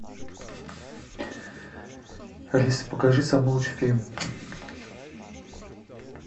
алиса покажи самый лучший фильм